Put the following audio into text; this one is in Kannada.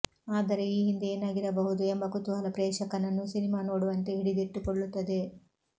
ಆದರೆ ಈ ಹಿಂದೆ ಏನಾಗಿರಬಹುದು ಎಂಬ ಕುತೂಹಲ ಪ್ರೇಕ್ಷಕನನ್ನು ಸಿನಿಮಾ ನೋಡುವಂತೆ ಹಿಡಿದಿಟ್ಟುಕೊಳ್ಳುತ್ತದೆ